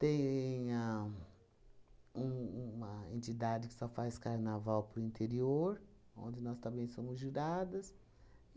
Tem a um uma entidade que só faz carnaval para o interior, onde nós também somos juradas.